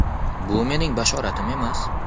Bu mening bashoratim emas.